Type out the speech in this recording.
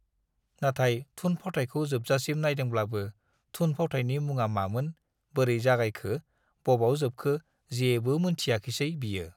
नाथाय थुन-फावथायखौ जोबजासिम नाइदोंब्लाबो थुन-फावथायनि मुङा मामोन, बोरै जागायखो, बबाव जोबखो जेबो मोनथियाखिसै बियो।